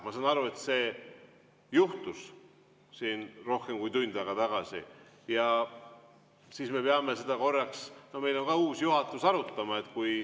Ma saan aru, et see juhtus siin rohkem kui tund aega tagasi, ja siis me peame seda, kuna meil on ka uus juhatus, arutama.